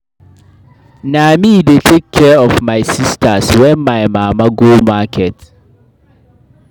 Na me dey take care of my sistas wen my mama go market.